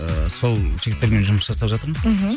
ыыы сол жігіттермен жұмыс жасап жатырмын мхм